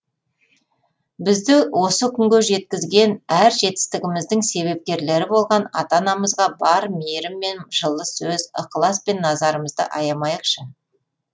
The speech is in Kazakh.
бізді осы күнге жеткізген әр жетістігіміздің себепкерлері болған ата анамызға бар мейірім мен жылы сөз ықылас пен назарымызды аямайықшы